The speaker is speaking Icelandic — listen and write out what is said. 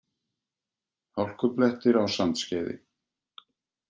Hálkublettir á Sandskeiði